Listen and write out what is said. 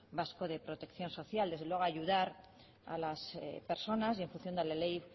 vasco de protección social desde luego ayudar a las personas y en función de la ley